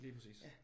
Lige præcis